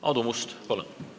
Aadu Must, palun!